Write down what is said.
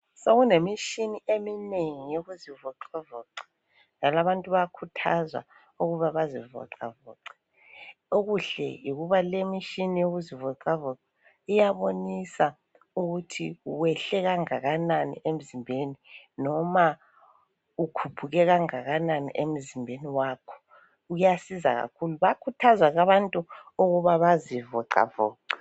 Sokunemishini eminengi yokuzivoxavoxa njalo abantu bayakhuthazwa ukuba bazivoxavoxe. Okuhle yikuba lemishini yokuzivoxavoxa iyabonisa ukuthi uyehle kangakanani emzimbeni loba ukhuphuke kangakanani emzimbeni wakho. Kuyasiza kakhulu. Bayakhuthazwa ke abantu ukuthi bazivoxavoxe.